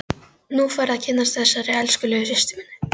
Nú færðu að kynnast þessari elskulegu systur minni!